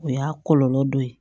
O y'a kɔlɔlɔ dɔ ye